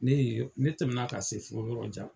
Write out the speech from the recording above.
Ne ye, ne tɛmɛna ka se fo yɔrɔ jan.